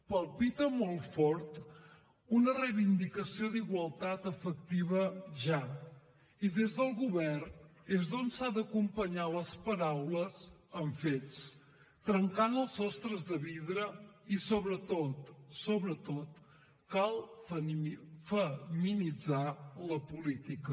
palpita molt fort una reivindicació d’igualtat efectiva ja i des del govern és des d’on s’han d’acompanyar les paraules amb fets trencant els sostres de vidre i sobretot sobretot cal feminitzar la política